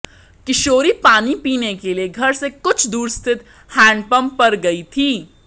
किशोरी पानी पीने के लिए घर से कुछ दूर स्थित हैंडपंप पर गई थी